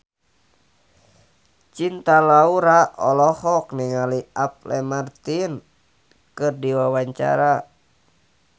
Cinta Laura olohok ningali Apple Martin keur diwawancara